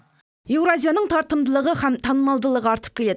еуразияның тартымдылығы һәм танымалдылығы артып келеді